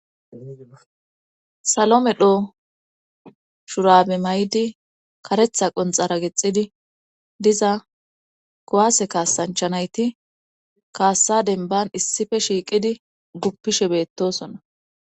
salo medho shurabe may7di karetha qonxara gexxidi diza kowaase kaasanchanayti kaassa denban issife shiiqidi guppishe beettosona